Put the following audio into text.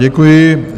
Děkuji.